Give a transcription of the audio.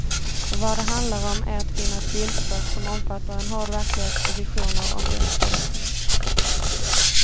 För vad det handlar om är att finna ett bildspråk som omfattar en hård verklighet och visioner om dess förbättring.